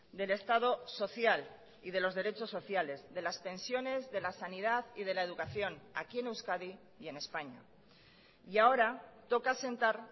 del estado social y de los derechos sociales de las pensiones de la sanidad y de la educación aquí en euskadi y en españa y ahora toca sentar